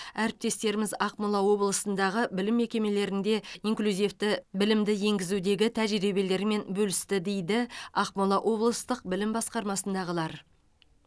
әріптестеріміз ақмола облысындағы білім мекемелерінде инклюзивті білімді енгізудегі тәжірибелерімен бөлісті дейді ақмола облыстық білім басқармасындағылар